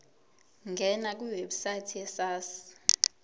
ngena kwiwebsite yesars